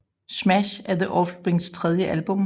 Smash er The Offsprings tredje album